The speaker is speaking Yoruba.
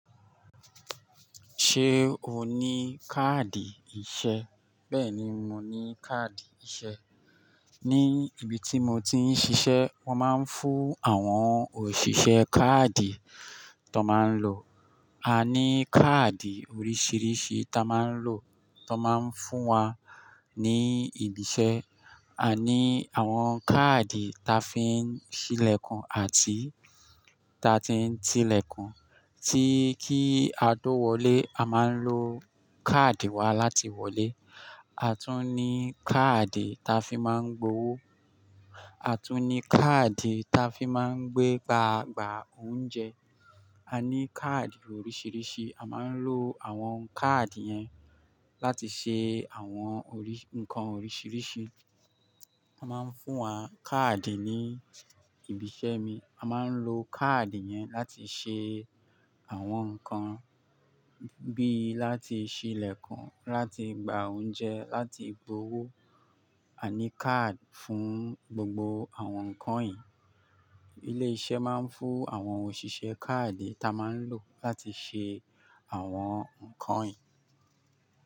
Ṣé o ní káàdì iṣẹ́? Bẹ́ẹ̀ni, mo ní káàdì iṣẹ́. Ní ibi tí mo ti ń ṣiṣẹ́ wọ́n máa ń fún àwọn òṣìṣẹ́ káàdì tón máa ń lò. A ní káàdì oríṣìíríṣìí ta máa ń lò, tón máa ń fún wa ní ibi iṣẹ́. A ní àwọn káàdì ta fi ń ṣílẹ̀kùn àti ta tí ń tílẹ̀kùn, tí kí a tó wọlé a máa ń lo káàdì wa láti wọlé. A tún ní káàdì ta fi máa ń gbowó, a tún ní káàdì ta fi máa ń gbé gba gbà oúnjẹ. A ní káàdì oríṣìíríṣìí, a máa ń lo àwọn káàdì yẹn láti ṣe àwọn ǹkan oríṣìíríṣìí. Wọ́n máa ń fún wa káàdì ní ibi iṣẹ́ mi. A máa ń lo káàdì yẹn láti ṣe àwọn nǹkan bí i láti ṣílẹ̀kùn, láti gba oúnjẹ, láti gbowó. A ní káàdì fún gbogbo àwọn nǹkan yìí. Ilé iṣẹ́ máa ń fún àwọn òṣìṣẹ́ káàdì ta máa ń lò láti ṣe àwọn nǹkan yìí.